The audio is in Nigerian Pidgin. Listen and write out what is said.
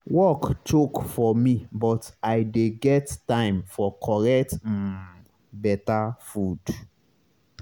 work choke for me but i dey get time for correct um beta food